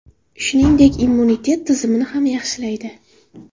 Shuningdek, immunitet tizimini ham yaxshilaydi.